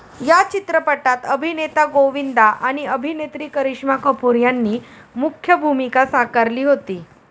या चित्रपटात अभिनेता गोविंदा आणि आभिनेत्री करिश्मा कपूर यांनी मुख्य भूमिका साकारली होती.